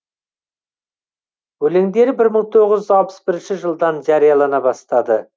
өлеңдері бір мың тоғыз жүз алпыс бірінші жылдан жариялана бастады